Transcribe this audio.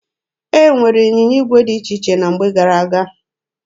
E nwere ịnyịnya igwe dị iche iche na mgbe gara aga.